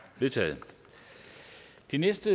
endeligt det